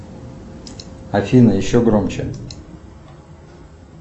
афина еще громче